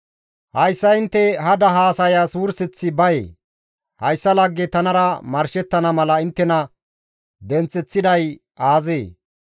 Hayssa intte hada haasayas wurseththi bayee? Hayssa lagge tanara marshettana mala inttena denththeththiday aazee?